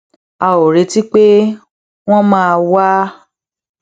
a ò retí pé wón máa wá